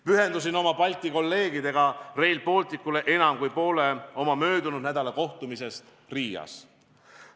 Pühendasin Rail Balticule enam kui poole oma möödunud nädala kohtumisest Balti kolleegidega Riias.